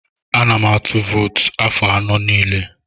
Ana m atụ vootu afọ anọ niile.